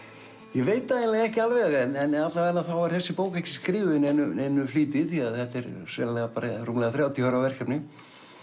ég veit það ekki alveg en alla vega er þessi bók ekki skrifuð í neinum neinum flýti því þetta er sennilega rúmlega þrjátíu ára verkefni